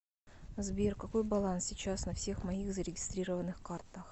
сбер какой баланс сейчас на всех моих зарегистрированных картах